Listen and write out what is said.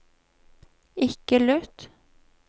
ikke lytt